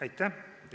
Aitäh!